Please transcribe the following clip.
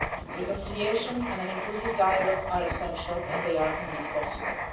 Reconciliation and an inclusive dialogue are essential, and they are possible.